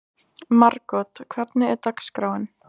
Margot, hvernig er dagskráin?